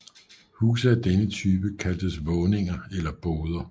Huse af denne type kaldtes våninger eller boder